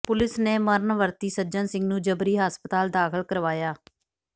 police ਨੇ ਮਰਨ ਵਰਤੀ ਸੱਜਣ ਸਿੰਘ ਨੂੰ ਜਬਰੀ ਹਸਪਤਾਲ ਦਾਖ਼ਲ ਕਰਵਾਇਆ